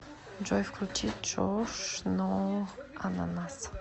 джой включи джош но ананас